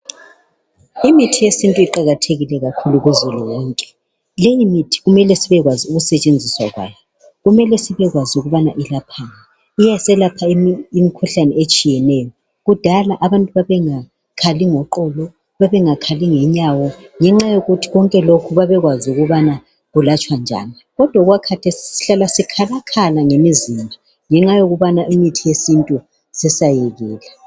imithi yesintu iqakathekile kakhulu kuzulu wonke leyi mithi kumele sibekwazi ukusetshenziswa kwayo kumele sibekwazi ukuthi ilaphani iyaselapha imikhuhlane etshiyeneyo kudala abantu babengakhali ngoqolo babengakhali ngenyawo ngenxa yokuthi konke lokhu babekwazi ukubana kulatshwa njani kodwa okwakhathesi sihlala sikhalakhala ngemizimba ngenxa yokubana imithi yesintu sesayekela